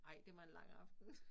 Ej det var en lang aften